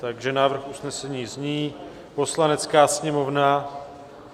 Takže návrh usnesení zní: "Poslanecká sněmovna..."